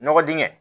Nɔgɔ dingɛ